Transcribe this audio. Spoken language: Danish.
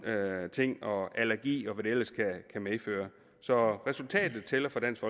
ting og allergi og hvad det ellers kan medføre så resultatet tæller for dansk